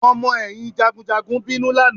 Àwọn ọmọ ẹ̀yìn jagunjagun bínú lánàá